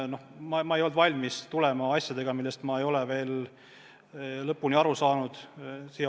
Aga ma ei olnud valmis minema valitsusse eelnõudega, millest ma ei olnud veel lõpuni aru saanud.